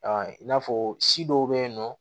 i n'a fɔ si dɔw be yen nɔ